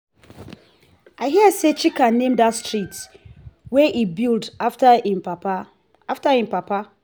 i hear say chika name dat street wey he build after im papa after im papa